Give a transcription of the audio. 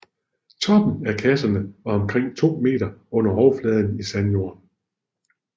Toppen af kasserne var omkring to meter under overfladen i sandjord